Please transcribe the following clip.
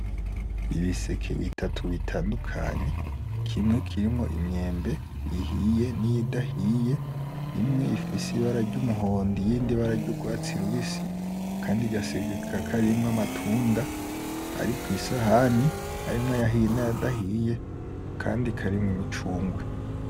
Ibiseke bitatu bitandukany kimwe kirimwo imyembe ihiye n’iyidahiye imwe ifise ibara ry’umuhondo iyindi ibara ry’urwatsi rubisi akandi gaseke kakaba karimwo amatunda ari ku isahani harimwo ayahiye n’ayadahiye akandi karimwo imicungwe.